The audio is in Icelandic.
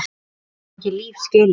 Hún á ekki líf skilið.